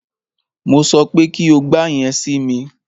Mo sọ pé kí o gba yẹn si mi!